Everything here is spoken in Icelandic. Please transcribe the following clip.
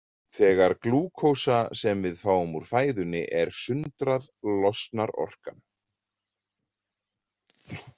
Þegar glúkósa sem við fáum úr fæðunni er sundrað losnar orka.